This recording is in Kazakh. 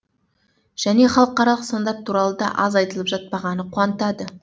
және халықаралық стандарт туралы да аз айтылып жатпағаны қуантады